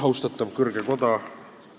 Austatav kõrge koda!